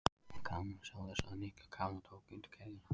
Gaman að sjá þig sagði Nikki og Kamilla tók undir kveðjuna.